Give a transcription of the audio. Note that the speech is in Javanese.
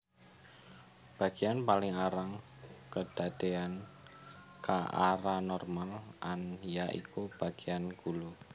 Bagéan paling arang kedadéyan ka oranormal an ya iku bagéan gulu